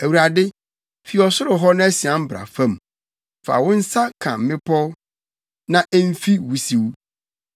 Awurade, fi ɔsoro hɔ na sian bra fam; fa wo nsa ka mmepɔw, na emfi wusiw.